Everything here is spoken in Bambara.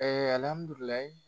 Ee alihamidulilayi